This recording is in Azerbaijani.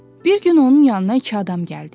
Bir gün onun yanına iki adam gəldi.